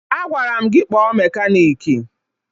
Agwara m gị kpọọ mekaniiki!